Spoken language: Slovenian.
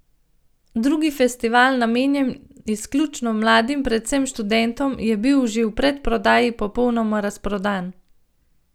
Drugi festival, namenjen izključno mladim, predvsem študentom, je bil že v predprodaji popolnoma razprodan.